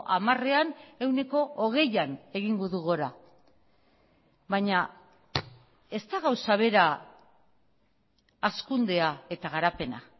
hamarean ehuneko hogeian egingo du gora baina ez da gauza bera hazkundea eta garapena